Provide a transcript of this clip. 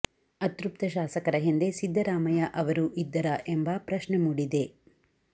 ಅತೃಪ್ತ ಶಾಸಕರ ಹಿಂದೆ ಸಿದ್ದರಾಮಯ್ಯ ಅವರು ಇದ್ದರಾ ಎಂಬ ಪ್ರಶ್ನೆ ಮೂಡಿದೆ